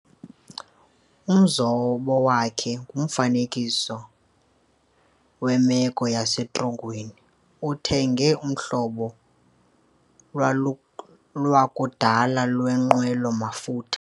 Umzobo wakhe ngumfuziselo wemeko yasetrongweni. uthenge uhlobo lwakudala lwenqwelo mafutha